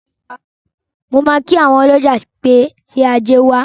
Mo máa kí àwọn ọlọ́jà pé, “ṣé ajé wá?”